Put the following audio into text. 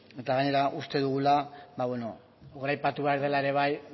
eta gainera uste dugula goraipatu behar dela hasiera